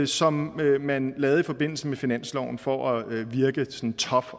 som man lavede i forbindelse med finansloven for at virke sådan tough